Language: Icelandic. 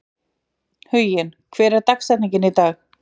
Huginn, hver er dagsetningin í dag?